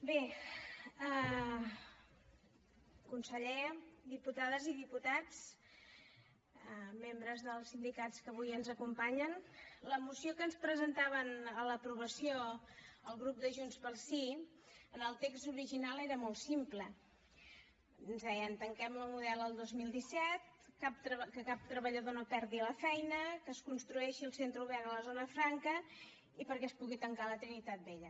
bé conseller diputades i diputats membres dels sindicats que avui ens acompanyen la moció que ens presentaven a l’aprovació el grup de junts pel sí en el text original era molt simple ens deien tanquem la model el dos mil disset que cap treballador no perdi la feina que es construeixi el centre obert a la zona franca i perquè es pugui tancar la trinitat vella